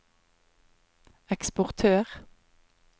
eksportør